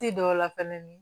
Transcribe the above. Ti dɔw la fɛnɛ ni